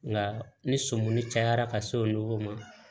Nka ni sɔmuni cayara ka s'o ma